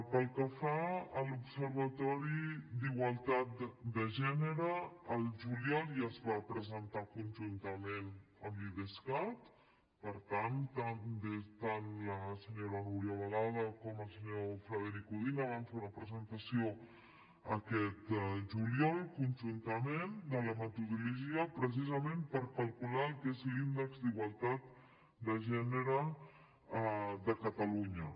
pel que fa a l’observatori de la igualtat de gènere el juliol ja es va presentar conjuntament amb l’idescat per tant tant la senyora núria balada com el senyor frederic codina van fer una presentació aquest juliol conjuntament de la metodologia precisament per calcular el que és l’índex d’igualtat de gènere de catalunya